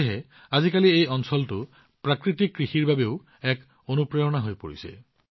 সেয়েহে আজিকালি এই অঞ্চলটো প্ৰাকৃতিক কৃষিৰ বাবে এক অনুপ্ৰেৰণা হৈ পৰিছে